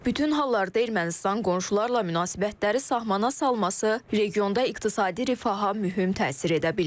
Bütün hallarda Ermənistan qonşularla münasibətləri sahmana salması regionda iqtisadi rifaha mühüm təsir edə bilər.